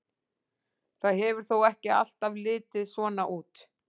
Það hefur þó ekki alltaf litið svona út.